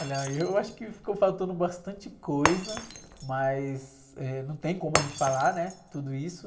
Olha, eu acho que ficou faltando bastante coisa, mas, eh, não tem como a gente falar, né, tudo isso.